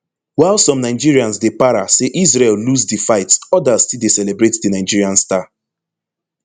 while some nigerians dey para say israel lose di fight odas still dey celebrate di nigerian star